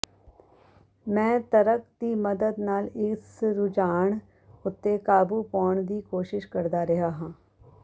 ਮੈਂ ਤਰਕ ਦੀ ਮਦਦ ਨਾਲ ਇਸ ਰੁਝਾਨ ਉੱਤੇ ਕਾਬੂ ਪਾਉਣ ਦੀ ਕੋਸ਼ਿਸ਼ ਕਰਦਾ ਰਿਹਾ ਹਾਂ